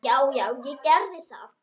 Já já, ég gerði það.